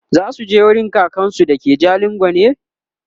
zasuje wurin kakansu da ke jalingo ne?